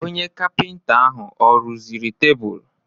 Onye kapịnta ahụ ọ rụziri tebụl?